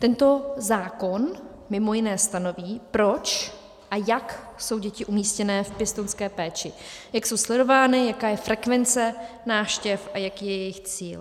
Tento zákon mimo jiné stanoví, proč a jak jsou děti umístěné v pěstounské péči, jak jsou sledovány, jaká je frekvence návštěv a jaký je jejich cíl.